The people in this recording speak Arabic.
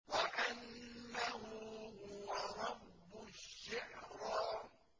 وَأَنَّهُ هُوَ رَبُّ الشِّعْرَىٰ